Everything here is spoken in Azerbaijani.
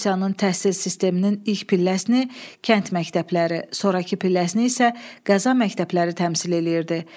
Rusiyanın təhsil sisteminin ilk pilləsini kənd məktəbləri, sonrakı pilləsini isə qəza məktəbləri təmsil edirdi.